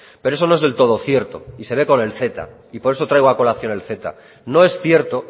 pero eso no es del todo cierto se ve con el ceta y por eso traigo a colación el ceta no es cierto